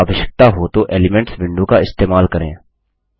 यदि आवश्यकता हो तो एलिमेंट्स विंडो का इस्तेमाल करें